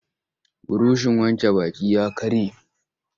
Burushin wanke baki ya karye.